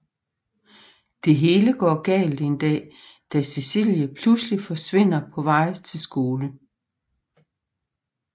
Det hele går galt en dag da Cecilie pludselig forsvinder på vej til skole